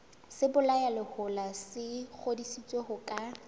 sebolayalehola se ngodisitswe ho ka